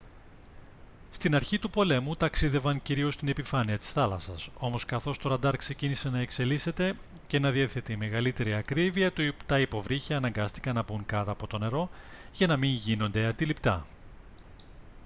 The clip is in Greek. στην αρχή του πολέμου ταξίδευαν κυρίως στην επιφάνεια της θάλασσας όμως καθώς το ραντάρ ξεκίνησε να εξελίσσεται και να διαθέτει μεγαλύτερη ακρίβεια τα υποβρύχια αναγκάστηκαν να μπουν κάτω από το νερό για να μην γίνονται αντιληπτά